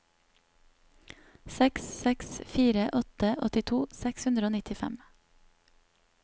seks seks fire åtte åttito seks hundre og nittifem